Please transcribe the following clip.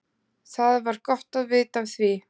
Það var gott vita af því.